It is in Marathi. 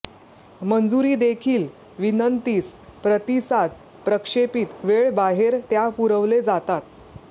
मंजुरी देखील विनंतीस प्रतिसाद प्रक्षेपित वेळ बाहेर त्या पुरवले जातात